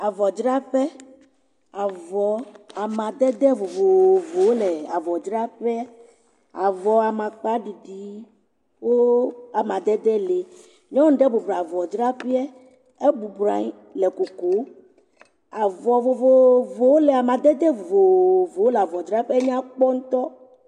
Avɔ dzra ƒe. Avɔ amadede vovovowo le avɔ dzra ƒea. Avɔ amakpa ɖiɖiwo amadede le. Nyɔnu aɖe bɔbɔ nɔ avɔ dzra ƒea. Ebubɔnɔ anyi le nu kom. Avɔ amadede wo le amadede vovovowo nya kpɔ ŋutɔ.